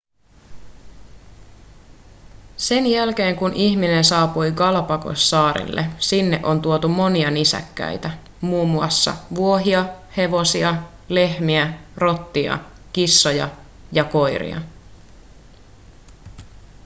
sen jälkeen kun ihminen saapui galapagossaarille sinne on tuotu monia nisäkkäitä mm vuohia hevosia lehmiä rottia kissoja ja koiria